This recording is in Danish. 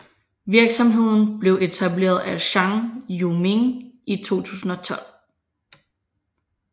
Virksomheden blev etableret af Zhang Yiming i 2012